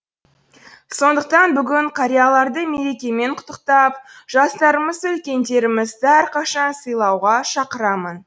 сондықтан бүгін қарияларды мерекемен құттықтап жастарымызды үлкендерімізді әрқашан сыйлауға шақырамын